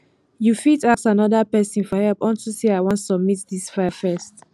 you go fit ask another person for help unto say i wan submit dis file first